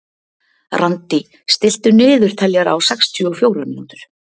Randí, stilltu niðurteljara á sextíu og fjórar mínútur.